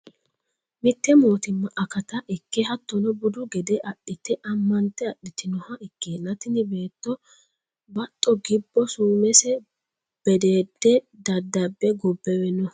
Mite mootimma akata ikke hattono budu gede adhite amante adhitinoha ikkenna tini beetto baxo gibbo sumese bedede daddabe gobbewe no